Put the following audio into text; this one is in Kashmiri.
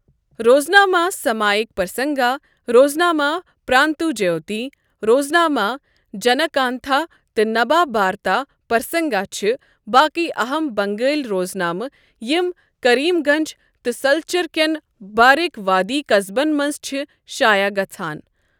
روزنامہٕ سمائک پرسنگا، روزنامہٕ پرانتوجیوتی، روزنامہٕ جَنَکانٛتھا تہٕ نبابارتا پرسنگا چھِ باقی اہَم بنگٲلی روزنامہٕ یِم کریم گنج تہٕ سلچر کٮ۪ن بارک وادی قصبن منٛز چھِ شایع گژھان۔